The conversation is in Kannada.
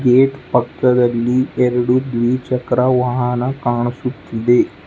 ಗೇಟ್ ಪಕ್ಕದಲ್ಲಿ ಎರೆಡು ದ್ವಿಚಕ್ರ ವಾಹನ ಕಾಣಿಸುತ್ತಿದೆ.